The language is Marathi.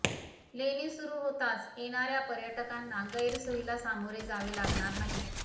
लेणी सुरू होताच येणाऱ्या पर्यटकांना गैरसोयीला सामोरे जावे लागणार नाही